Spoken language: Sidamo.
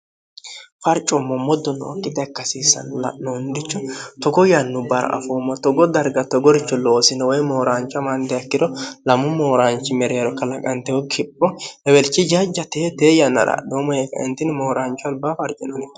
farcoommo moddo nookkita ikkasiissannu l'noondicho togo yannu barafoommo togo darga togoricho loosino woy mooraancho maandeakkiro lamu mooraanchi mereero kalaqantehu kipho lewelchi jajja tee tee yannara adhoo moheeka intini mooraancho albaafarcinoniho